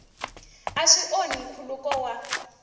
a swi onhi nkhuluko wa